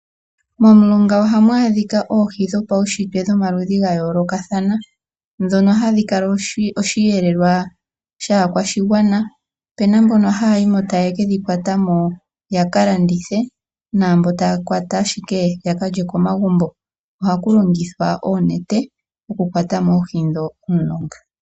Momulonga ohamu adhika okhi dhipaunshitwe dhomaludhi ga yoolokathana ndhino hadhi kala oshiyelelwa shaakwashigwama, opu na mbono haya yi mo tayeke dhi kwata mo yaka landithe, po opu na mbono taya kwata ashike taka lye komagumbo. Ohaku longithwa oonete oku kwata mo oohi ndho momulonga.